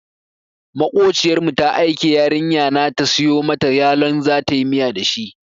Maƙociyar mu ta aike yarinya na ta siyo mata yalon zatayi miya da shi.